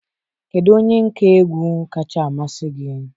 Kedu onye nka egwu kacha amasị gị?